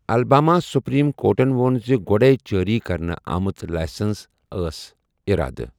Alabama supreme کورٹَن ووٚن زِ گۄڈَے جٲری كرنہٕ آمژٕ لائسنہٕ ٲس ارادٕ ۔